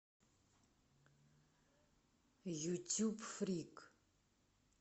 ютюб фрик